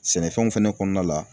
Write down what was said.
Sɛnɛfɛnw fɛnɛ kɔnɔna la